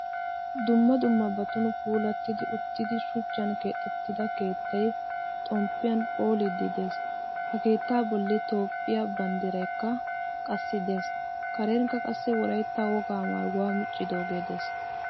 Dumma dummabatun puulatidi uttida shuchchan keexettida keettay xompiyan phoolidi de'ees. Ha keetta bollan toophphiyaa banddiraykka qassi de'ees. Karenikka qassi wolaytta wogaa maayuwaa miccidoge de'ees.